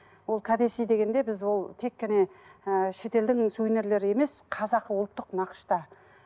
ол кәдесый дегенде біз ол тек қана ыыы шетелдің сувенирлері емес қазақы ұлттық нақышта